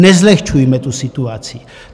Nezlehčujme tu situaci.